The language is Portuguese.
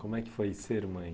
Como é que foi ser mãe?